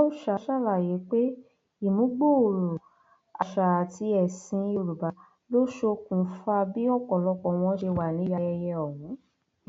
ìyáòọsà ṣàlàyé pé ìmúgbòòrò àṣà àti ẹsìn yorùbá ló ṣokùnfà bí ọpọlọpọ wọn ṣe wà níbi ayẹyẹ ọhún